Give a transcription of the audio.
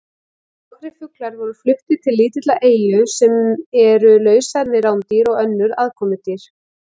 Nokkrir fuglar voru fluttir til lítilla eyja sem eru lausar við rándýr og önnur aðkomudýr.